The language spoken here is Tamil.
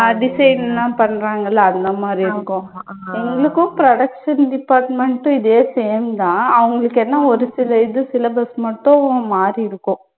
ஆஹ் design எல்லாம் பண்றாங்கள்ல அந்த மாதிரி இருக்கும். எங்களுக்கும் production department உம் இதே same தான். அவங்களுக்கென்ன ஒரு சில இது syllabus மட்டும் மாறி இருக்கும்.